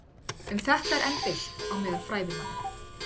Um þetta eru enn deilt á meðal fræðimanna.